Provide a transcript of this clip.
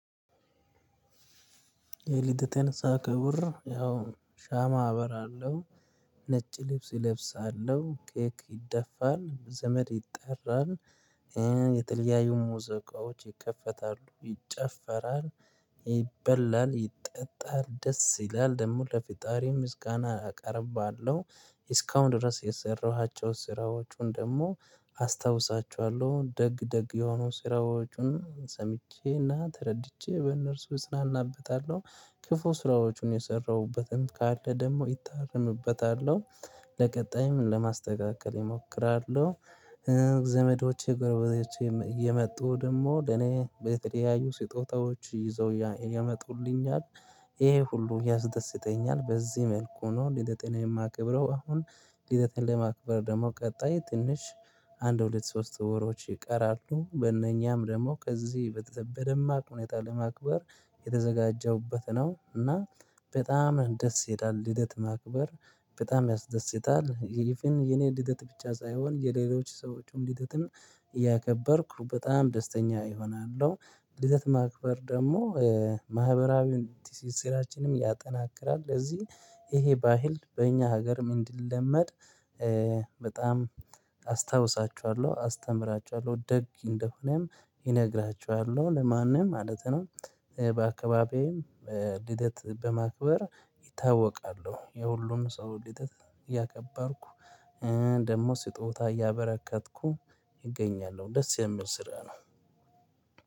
ለሊት ተነሳ ከቡር ያው ሻማ አበራለሁ። ነጭ ልብስ እለብሳለሁ ኬክ ይደፋል ዘመድ ይጠራል። የተለያዬ ሙዘቃዎች ይከፈታሉ ይጨፈራል። ይበላል ይጠጣል ደስ ይላል ደግሞ ለፍጠሪም ምስጋና አቀርባለሁ። እስካሁን ድረስ የሰራሃቸው ስራዎቹን ደግሞ አስታውሳችኋለሁ ደግ ደግ የሆኑ ስራዎቹን ሰምቼና ተረድቼ በእነርሱ እጽናናበታለሁ። ክፉ ስራዎቹን የሰራሁበትን ካለ ደግሞ እታረምበታለሁ። ለቀጣይም ለማስተካከል እሞክራለሁ። ዘመዶች ጎረቤቶቼ እየመጡ ደግሞ ለኔ በተለያዩ ስጦታዎች ይዘው ያመጡልኛል። ይሄ ሁሉ ያስደስተኛል በዚህ መልኩ ነው ሊደቴን የማከብረው አሁን። ልደቴን ለማክበር ደግሞ ቀጣይ ትንሽ አንድ ሁለት ሶስት ወሮች ይቀራሉ። በእነኛም ደግሞ ከዚህ በደማቅ ሁኔታ ለማክበር የተዘጋጀሁበት ነው። እና በጣም ደስ ይለል ልደት ማክበር በጣም ያስደስታል። እቭን የኔ ልደት ብቻ ሳይሆን የሌሎች ሰዎችም ልደትም እያከበርኩ በጣም ደስተኛ እሆናለሁ። ልደት ማክበር ደግሞ ማህበራዊ ስራችንን ያጠናክራል። ለዚህ ይሄ ባህል በእኛ ሀገር ንዠ እንድንለመድ በጣም አስታውሳችኋለሁ አስተምራችኋለሁ ደግ እንደሆነም እነግራቸኋለሁ ለማንም ማለት ነው። በአካባቢዬም ልደት በማክበር ይታወቃሉ የሁሉም ሰው ልደት እያከባርኩ ደግሞ ስጦታ እያበረከትኩ እገኛለሁ ደስ የሚል ስራ ነው።